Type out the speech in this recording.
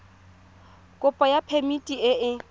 kopo ya phemiti e e